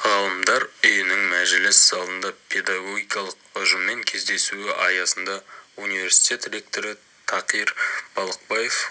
ғалымдар үйінің мәжіліс залында педагогикалық ұжыммен кездесуі аясында университет ректоры такир балықбаев